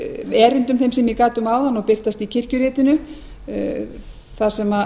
erindum þeim sem ég gat um áðan og birtast í kirkjuritinu þar sem